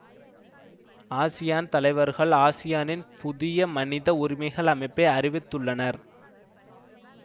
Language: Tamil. ஆசியான் தலைவர்கள் ஆசியானின் புதிய மனித உரிமைகள் அமைப்பை அறிவித்துள்ளனர்